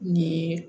Nin ye